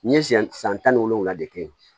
N ye siɲɛ san tan ni wolonwula de kɛ yen